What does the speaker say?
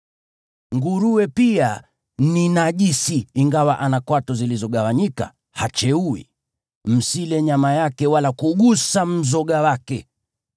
Nguruwe pia ni najisi; ingawa ana kwato zilizogawanyika, hacheui. Msile nyama yake wala kugusa mzoga wake.